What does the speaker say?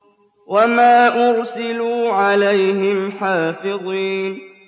وَمَا أُرْسِلُوا عَلَيْهِمْ حَافِظِينَ